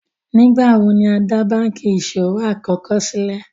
Nígbàwọ̀ ni á dá bankí iṣọwọ̀ àkọ́kọ̀ sílé?